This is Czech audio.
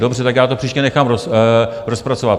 Dobře, tak já to příště nechám rozpracovat.